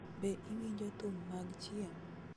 Be iwinjo thum mag chieng�?